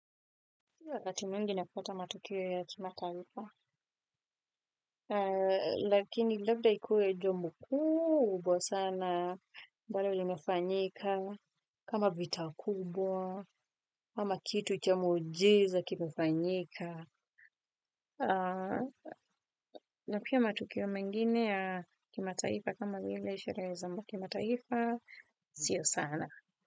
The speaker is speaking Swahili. Mimi wakati mwingi napata matukio ya kimataifa lakini labda ikuwe jambo kubwa sana ambalo limefanyika kama vita kubwa ama kitu cha muujiza kimefanyika. Na pia matukio mengine ya kimataifa kama vile sherehe za kimataifa, sio sana.